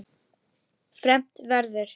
fermt verður.